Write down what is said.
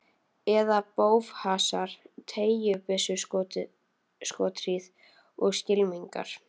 Eða í bófahasar, teygjubyssuskothríð og skylmingar.